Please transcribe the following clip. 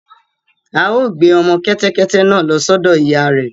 À ó gbé ọmọ kẹ́tẹ́kẹ́tẹ́ náà lọ sọ́dọ̀ ìyá rẹ̀